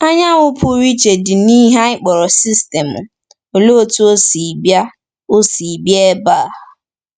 Anyanwụ pụrụ iche dị n’ihe anyị kpọrọ sistemụ — Olee otú ọ si bịa ọ si bịa ebe a?